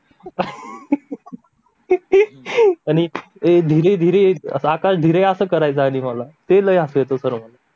आणि आकाश ये धीरे धीरे आकाश धीरे असा करायचा मला ते लई हासू येतं मला